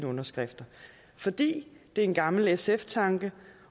underskrifter fordi det er en gammel sf tanke